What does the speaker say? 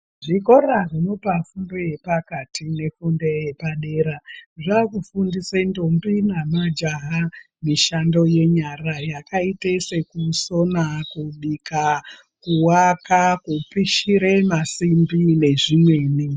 Zvikora zvinopa fundo yepakati nefundo yepadera zvaakufundise ndombi nemajaha mishando yenyara yakaite sekubika kuwaka, kupishire masimbi nezvimweni.